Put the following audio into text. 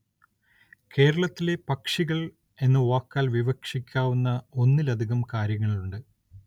കേരളത്തിലെ പക്ഷികള്‍ എന്ന വാക്കാല്‍ വിവക്ഷിക്കാവുന്ന ഒന്നിലധികം കാര്യങ്ങളുണ്ട്